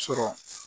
Sɔrɔ